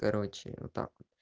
короче вот так вот